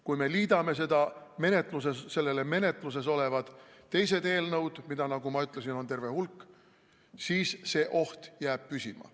Kui me liidame sellele menetluses olevad teised eelnõud, mida, nagu ma ütlesin, on terve hulk, siis see oht jääb püsima.